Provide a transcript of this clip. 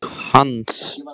Hans